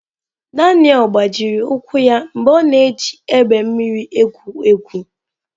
Daniel gbajiri ụkwụ ya mgbe ọ na-eji egbe mmiri egwu egwu.